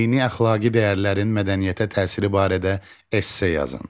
Dini əxlaqi dəyərlərin mədəniyyətə təsiri barədə esse yazın.